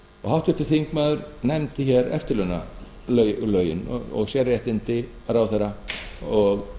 háttvirtur þingmaður nefndi hér eftirlaunalögin og sérréttindi ráðherra og